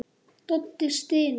Doddi stynur.